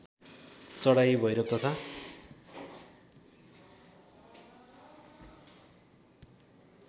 चढाइ भैरव तथा